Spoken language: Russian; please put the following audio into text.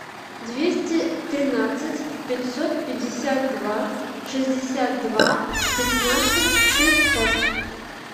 двести тринадцать пятьсот пятьдесят два шестьдесят два пятнадцать шестьсот